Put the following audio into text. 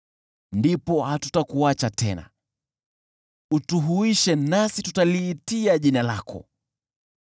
Ndipo hatutakuacha tena, utuhuishe, nasi tutaliitia jina lako.